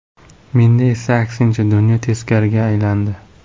Menda esa aksincha dunyo teskariga aylandi.